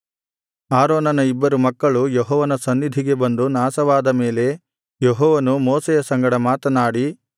ಆರೋನನ ಇಬ್ಬರು ಮಕ್ಕಳು ಯೆಹೋವನ ಸನ್ನಿಧಿಗೆ ಬಂದು ನಾಶವಾದ ಮೇಲೆ ಯೆಹೋವನು ಮೋಶೆಯ ಸಂಗಡ ಮಾತನಾಡಿ